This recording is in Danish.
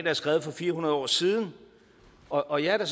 er skrevet for fire hundrede år siden og jeg er da